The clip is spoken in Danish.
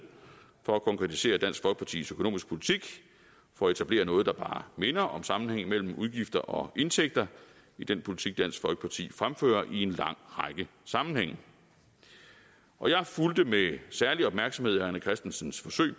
for at konkretisere dansk folkepartis økonomiske politik for at etablere noget der bare minder om sammenhængen mellem udgifter og indtægter i den politik dansk folkeparti fremfører i en lang række sammenhænge og jeg fulgte med særlig opmærksomhed herre rené christensens forsøg